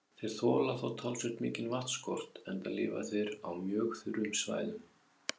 Þeir þola þó talsvert mikinn vatnsskort enda lifa þeir á mjög þurrum svæðum.